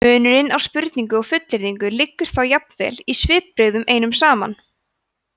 munurinn á spurningu og fullyrðingu liggur þá jafnvel í svipbrigðunum einum saman